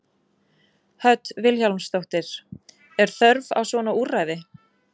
Hödd Vilhjálmsdóttir: Er þörf á svona úrræði?